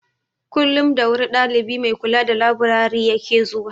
Kullum da wuri dalibi mai kula da laburare ya ke zuwa.